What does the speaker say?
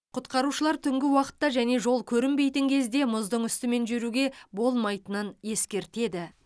құтқарушылар түнгі уақытта және жол көрінбейтін кезде мұздың үстімен жүруге болмайтынын ескертеді